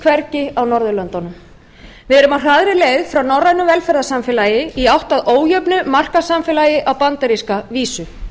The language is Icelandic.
hvergi á norðurlöndunum við erum á hraðri leið frá norrænu velferðarsamfélagi í átt að ójöfnu markaðssamfélagi á bandaríska vísu